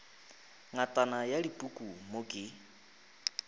ngatana ya dipuku mo ke